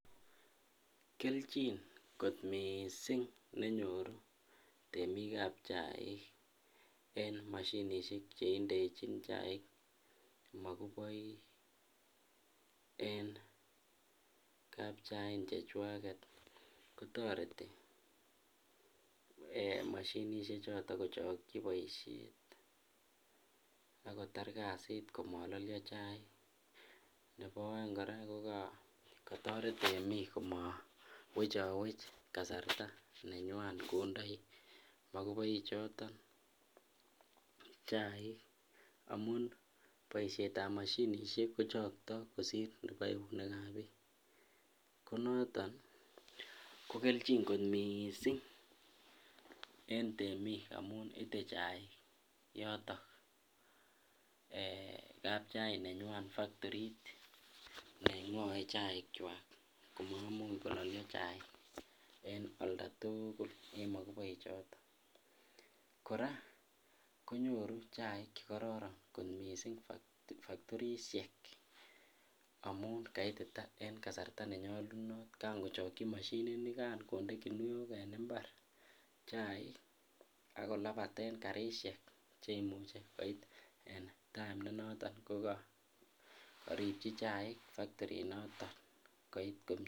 Kelchin kot mising nenyoru temikab chaik en mashinishek cheindechin chaik mokuboik en kapchain chechwaket kotoreti moshinishekwak kochokyi boishet ak kotar kotar kasit komololio chaik, nebo oeng kora ko kotoret temiik komowech chowech kasarta nenywan kondoi mokuboi choton chaik amun boishetab moshinishek kochokto kosir eunekab biik, konoton ko kelchin kot mising en temik amun itee chaik yoton eeh kapchain nenywan factorit nengoe chaikwak koimuch kololio chaik en oldatukul en mokuboi choton, kora konyoru chaik chekororon kot mising factorishek amun kaitita en kasarta nenyolunot kangochokyi moshininikan konde kinuok en mbar chaik ak kolabaten karishek cheimuche koit en time nenoton kokoripchi chaik factori noton koit komie.